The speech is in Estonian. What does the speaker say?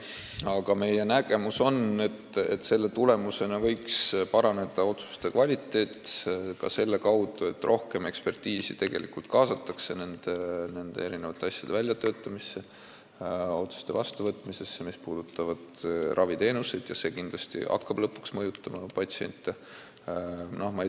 Aga meie nägemus on, et selle tulemusena võiks otsuste kvaliteet paraneda ka selle kaudu, et rohkem eksperditeadmisi kaasatakse nende asjade väljatöötamisse ja otsuste vastuvõtmisesse, mis puudutavad raviteenuseid, ja see hakkab kindlasti lõpuks patsiente mõjutama.